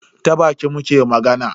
Ta baki muke magana.